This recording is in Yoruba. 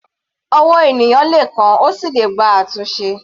Ọwọ́ ènìyàn le kán, ó sì le gba àtúnṣe.